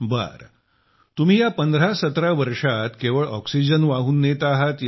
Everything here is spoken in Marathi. बरं तुम्ही या 1517 वर्षात केवळ ऑक्सिजन वाहून नेत आहात